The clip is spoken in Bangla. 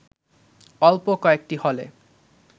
অল্প কয়েকটি হলে